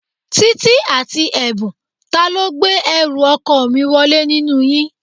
Títí àti Ẹ̀bùn, ta ló gbé ẹrù ọkọ mi wọlé nínú yín?